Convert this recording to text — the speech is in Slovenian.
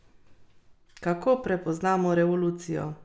Kako prepoznamo revolucijo?